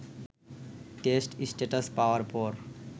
test status পাওয়ার পর